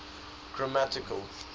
grammatical